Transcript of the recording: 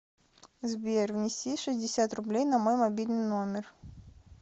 сбер внеси шестьдесят рублей на мой мобильный номер